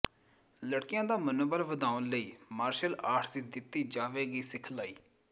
ਲੜਕੀਆਂ ਦਾ ਮਨੋਬਲ ਵਧਾਉਣ ਲਈ ਮਾਰਸ਼ਲ ਆਰਟ ਦੀ ਦਿਤੀ ਜਾਵੇਗੀ ਸਿਖਲਾਈ